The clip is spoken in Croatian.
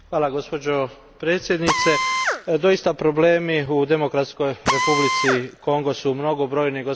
Gospođo predsjednice, doista, problemi u Demokratskoj Republici Kongo su mnogobrojni.